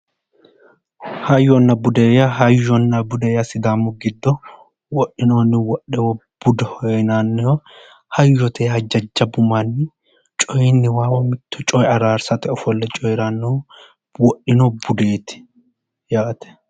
Hayyonna Bude yaa sidaamu giddo wodhinohanna wodhewohao hayyote yaa jajjabbu manni coyinniwa mitto coye araarsate ofolle coyranno wodhino budeeti yaate.